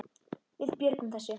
Við björgum þessu.